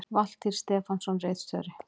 Valtýr Stefánsson ritstjóri